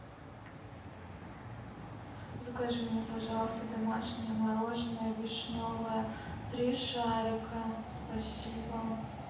закажи мне пожалуйста домашнее мороженое вишневое три шарика спасибо